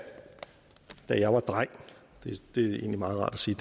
jeg var dreng det er egentlig meget rart at sige